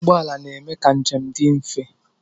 Ụgbọala na-eme ka njem dị mfe.